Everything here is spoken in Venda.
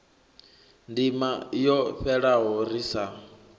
ndima yo fhelaho ri sa